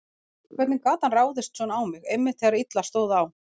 Hvernig gat hann ráðist svona á mig, einmitt þegar illa stóð á?